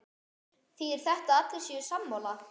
Þýðir þetta að allir séu sammála?